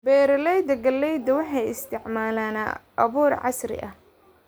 Beeralayda galleyda waxay isticmaalaan abuur casri ah.